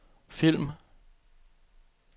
film